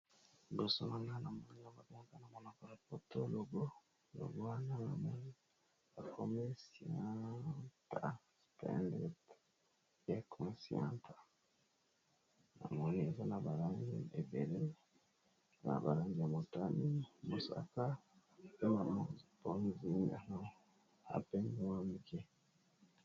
Logo balakisi biso awa, ezali na langi ya mosaka, motane, ya bozinga pe ya pembe.